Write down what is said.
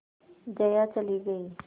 जया चली गई